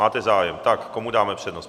Máte zájem, tak komu dáme přednost?